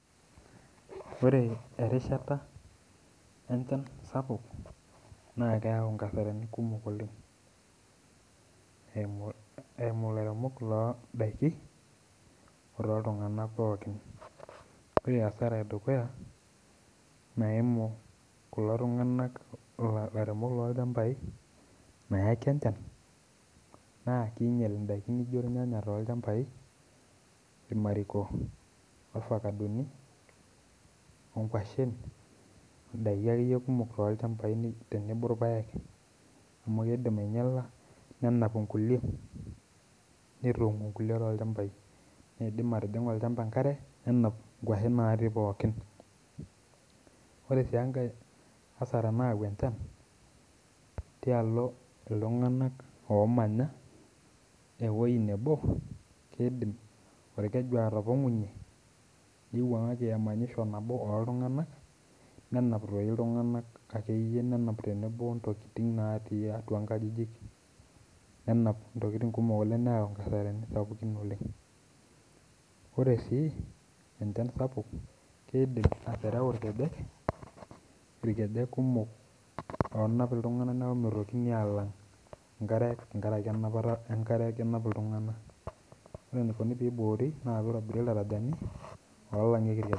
Ore erishata enchan naa keyau nkasarani kumok oleng eimu ilairemok loo indaki otoo iltunganak pookin. Ore asara edukuya naimu kulo tunganak ilairemok loo ilchambai naeki enchan naa keinyal indaki naji olnyanya too ilchambai, ilkimariko, ovakadoni, ongoshen, endaki akeiyie kumok too ilchambai tenebo orpaek amu keidim ainyala, nena olkulie, netum inkuke too ilchambai, neidim aitijing'u olchamba inkare nenap ingoshen natii pookin. Kore sii enkae inkasara nayau enchan tealo iltunganak ooomanya eweji nabo keidim olkeju atopong'unye neiwuang'aki emanyisho nabo oltungana nenap doi iltunganak ake iyie nenap tenebo ontokitin natii atua inkajijik nenapa ntokitin kumok oleng, neyau inkasarani sapukin oleng. Ore sii enchan sapuk keidim atereu ilkejek, ilkejek kumok oonap iltunganak paa meitokini alamg inkare tengaraki nkinapata enkare aakenap iltungana, ore neikoni peiboori naa peitobiri iltarajani olangieki ilkeju.